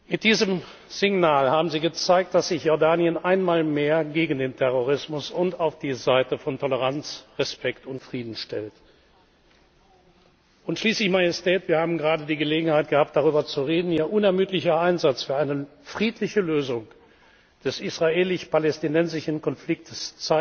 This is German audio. Mit diesem Signal haben Sie gezeigt, dass sich Jordanien einmal mehr gegen den Terrorismus und auf die Seite von Toleranz, Respekt und Frieden stellt. Schließlich, Majestät, wir haben gerade die Gelegenheit gehabt, darüber zu reden zeigt Ihr unermüdlicher Einsatz für eine friedliche Lösung des israelisch palästinensischen Konfliktes,